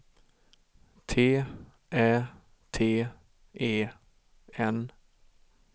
T Ä T E N